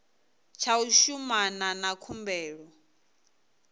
tsha u shumana na khumbelo